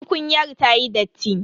Tukunyar ta yi datti.